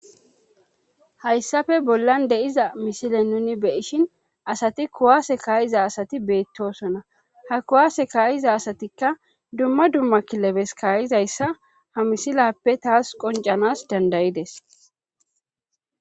hayssafe bollan de7iza misile nuni beishin asati kuwaase kaayiza asati beettosona ha kuwaase kaayiza asatikka dumma dumma kilebes kaayizayssa ha misilappe taas qoncanas dandayides